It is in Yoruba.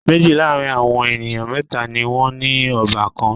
Méjì láàrin àwọn ènìyàn mẹ́tà ni wọ́n ní ọbàkan.